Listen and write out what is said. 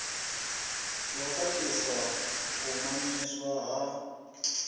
ḓo khakhisa u mamiswa ha